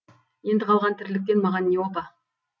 енді қалған тірліктен маған не опа